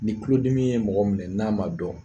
Ni tulodimi ye mɔgɔ minɛ n'a ma dɔn